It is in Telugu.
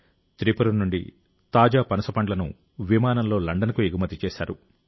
త్రిపుర నుండి తాజా పనసపండ్లను విమానంలో లండన్కు ఎగుమతి చేశారు